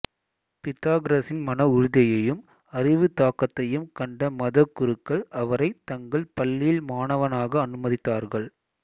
பிதகோரஸின் மன உறுதியையும் அறிவு தாகத்தையும் கண்ட மத குருக்கள் அவரைத் தங்கள் பள்ளியில் மாணவனாக அனுமதித்தார்கள்